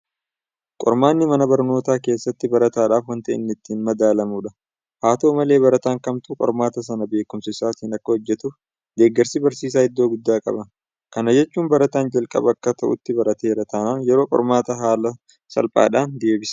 Qormaanni mana barnootaa keessatti barataadhaaf waanta inni ittiin madaalamudha. Haa ta'u malee barataan kamtuu qormaata sana beekumsa isaatiin akka hojjetuuf deeggarsi barsiisaa iddoo guddaa qaba. Kana jechuun barataan jalqaba akka ta'utti barateera taanaan yeroo qormaataa haala salphaadhaan deebisa.